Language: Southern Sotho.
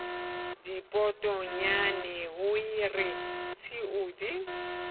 dipotongwane ho re tshiu di